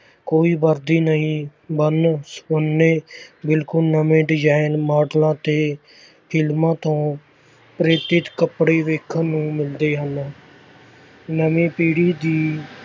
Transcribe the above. ਕੋਈ ਵਰਦੀ ਨਹੀਂ ਵੰਨ ਸੁਵੰਨੇ ਬਿਲਕੁਲ ਨਵੇਂ design ਮਾਡਲਾਂ ਤੇ ਫਿਲਮਾਂ ਤੋਂ ਪ੍ਰੇਰਿਤ ਕੱਪੜੇ ਵੇਖਣ ਨੂੰ ਮਿਲਦੇ ਹਨ ਨਵੀਂ ਪੀੜ੍ਹੀ ਦੀ